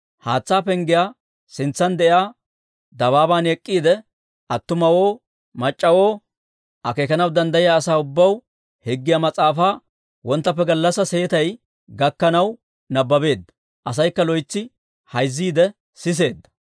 Haatsaa Penggiyaa sintsan de'iyaa dabaaban ek'k'iide, attumawoo mac'c'awoo, akeekanaw danddayiyaa asaa ubbaw Higgiyaa Mas'aafaa wonttappe gallassaa seetay gakkanaw nabbabeedda; asaykka loytsi hayzziide siseedda.